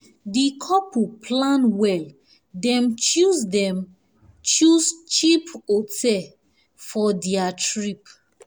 di couple plan well dem choose dem choose cheap hotel for their trip.